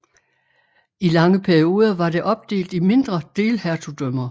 I lange perioder var det opdelt i mindre delhertugdømmer